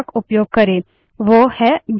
इस प्रक्रिया को pipelining कहते हैं